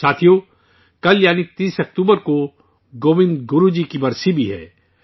ساتھیو، کل یعنی 30 اکتوبر کو گووند گرو جی کا یوم وفات بھی ہے